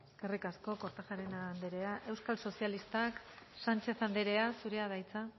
eskerrik asko kortajarena anderea euskal sozialistak sánchez anderea zurea da hitza